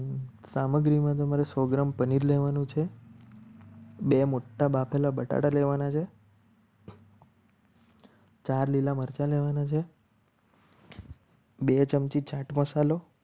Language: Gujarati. સામગ્રીમાં તમારે સો ગ્રામ પનીર લેવાનું છે. બે મોટા બાફેલા બટાકા લેવાના છે. ચાર લીલા મરચાં લેવાના છે. બે ચમચી ચાટ મસાલો